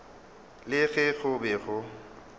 le ge go be go